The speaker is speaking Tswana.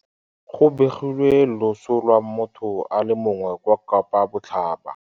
Go begilwe loso lwa motho a le mongwe kwa Kapa Botlhaba.